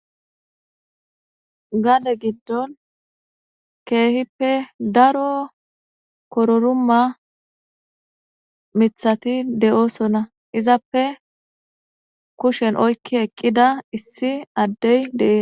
gade giddon keehippe daro kororuma mithati de7oosonna izappe kushen oykki eqqida issi addey dee